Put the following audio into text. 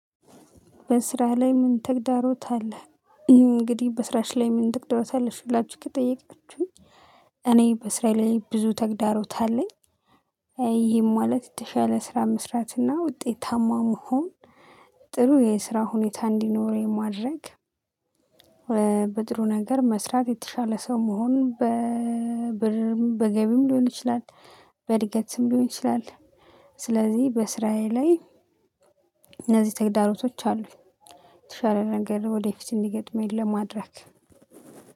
በስራህ ላይ ምን ተግዳሮት አለህ? እንግዲህ በስራሽ ላይ ምን ተግዳሮት አለሽ ብላችሁ ከጠየቃችሁኝ፤ እኔ በስራዬ ላይ ብዙ ተግዳሮት አለኝ። ይህም ማለት የተሻለ ስራ መስራት እና ውጤታማ መሆን፣ ጥሩ የስራ ሁኔታ እንዲኖረው የማድረግ በድሮ ነገር መስራት፣ የተሻለ ሰው መሆን፣ በብርም በገቢም ሊሆን ይችላል። ስም ሊሆን ይችላል። ስለዚህ በስራዬ ላይ እነዚህ ተግዳሮቶች አሉ። የተሻለ ነገር ወደፊት እንዲገጥመኝ ለማድረግ።